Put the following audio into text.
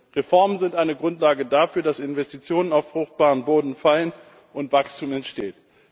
Denn Reformen sind eine Grundlage dafür, dass Investitionen auf fruchtbaren Boden fallen und Wachstum entsteht.